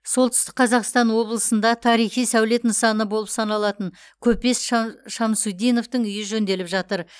солтүстік қазақстан облысында тарихи сәулет нысаны болып саналатын көпес ша шамсутдиновтың үйі жөнделіп жатыр